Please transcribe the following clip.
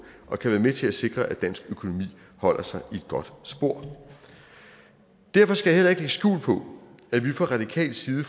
og kan være med til at sikre at dansk økonomi holder sig i et godt spor derfor skal jeg skjul på at vi fra radikal side